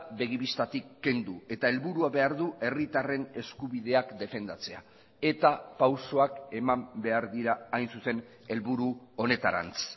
begi bistatik kendu eta helburua behar du herritarren eskubideak defendatzea eta pausoak eman behar dira hain zuzen helburu honetarantz